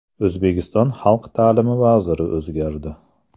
O‘zbekiston xalq ta’limi vaziri o‘zgardi.